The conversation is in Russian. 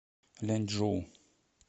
ляньчжоу